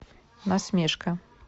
насмешка